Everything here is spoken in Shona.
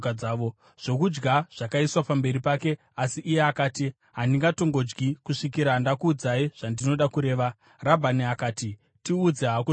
Zvokudya zvakaiswa pamberi pake, asi iye akati, “Handingatongodyi kusvikira ndakuudzai zvandinoda kureva.” Rabhani akati, “Tiudze hako zvino.”